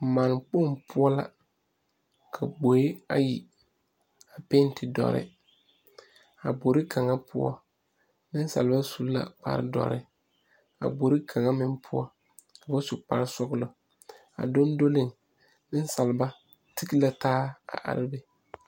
Mannekpoŋ poɔ la ka gboe ayi a pɛnte dɔre a gbori kaŋa poɔ nensaaleba su la kparedɔre ka a gbori kaŋa meŋ poɔ ka ba su sɔglɔ a dondoliŋ nensaaleba tige la taa a are be.